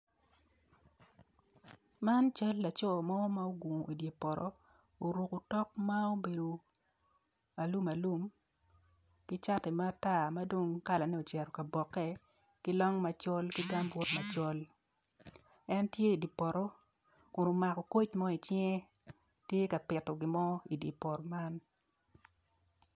Man cal laco mo ma ogungu i dye poto oruko otok ma obedo alum alum ki cati matar madong kalane ocito kaboke ki long macol ki gambut macol en tye idye poto kun omako koc mo icinge tye ka pito gin mo idye poto man.